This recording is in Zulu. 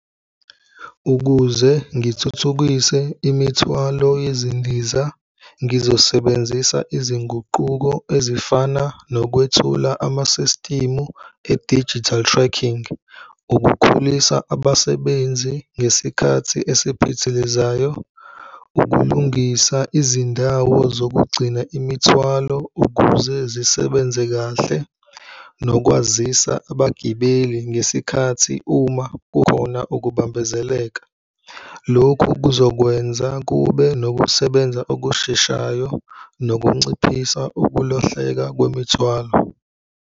Ukuze ngithuthukise imithwalo yezindiza, ngizosebenzisa izinguquko ezifana nokwethula amasistimu e-digital tracking. Ukukhulisa abasebenzi ngesikhathi esiphithilizayo, ukulungisa izindawo zokugcina imithwalo ukuze zisebenze kahle nokwazisa abagibeli ngesikhathi uma kukhona ukubambezeleka. Lokhu kuzokwenza kube nokusebenza okusheshayo nokunciphisa ukulahleka kwemithwalo.